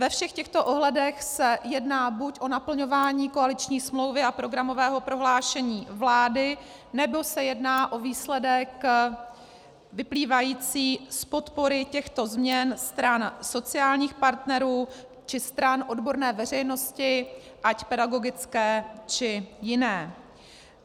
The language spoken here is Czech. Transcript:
Ve všech těchto ohledech se jedná buď o naplňování koaliční smlouvy a programového prohlášení vlády, nebo se jedná o výsledek vyplývající z podpory těchto změn stran sociálních partnerů či stran odborné veřejnosti ať pedagogické, či jiné.